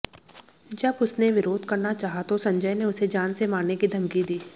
जब उसने विरोध करना चाहा तो संजय ने उसे जान से मारने की धमकी दी